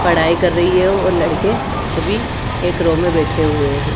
पढाई कर रही है और लड़के सभी एक रो में बेठे हुए है।